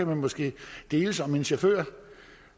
man måske kan deles om en chauffør